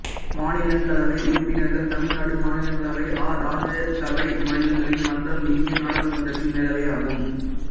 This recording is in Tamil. மாநிலங்களவை உறுப்பினர்கள் தமிழ்நாடு மாநிலங்களவை அ ராஜ்யசபை மாநிலங்களின் மன்றம் இந்திய நாடாளுமன்றத்தின் மேலவை ஆகும்